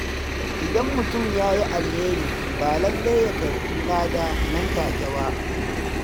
Idan mutum ya yi alheri, ba lallai ya karɓi lada nan take ba.